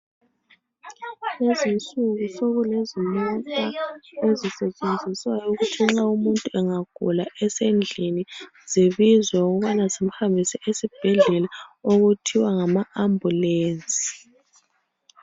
Lezi nsuku sokulezimota ezisetshenziswayo ukuthi nxa umuntu engagula esendlini zibizwe ukubana zim'hambise esibheldlela okuthwa ngama ambulance.